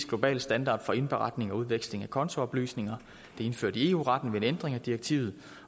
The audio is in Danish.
globale standard for indberetning og udveksling af kontooplysninger det er indført i eu retten ved en ændring af direktivet